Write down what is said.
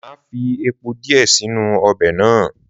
Máa fí epo díẹ̀ si inú ọbẹ̀ náà.